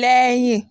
lẹ́yìn